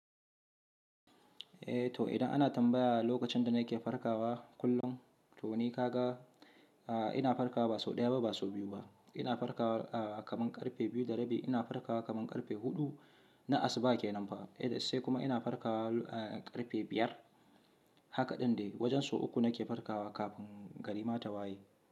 Eh to idan ana tambaya lokacin da nake farkawa kullum to ni ka ga, a ina farkawa ba sau ɗaya ba ba sau biyu ba, ina farkawa kamin karfe biyu da rabi, ina farkawa kamin karfe huɗu, na asuba ke nan fa, eh sai kuma ina farkawa karfe biyar, haka ɗin dai wajen sau uku nake farkawa kafin garima ta waye.